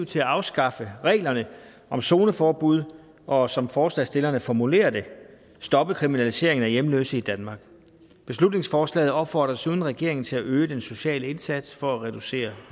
til at afskaffe reglerne om zoneforbud og som forslagsstillerne formulerer det stoppe kriminaliseringen af hjemløse i danmark beslutningsforslaget opfordrer desuden regeringen til at øge den sociale indsats for at reducere